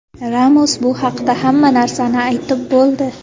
Ramos bu haqda hamma narsani aytib bo‘ldi.